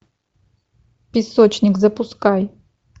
песочник запускай